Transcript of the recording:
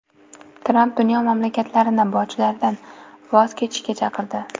Tramp dunyo mamlakatlarini bojlardan voz kechishga chaqirdi.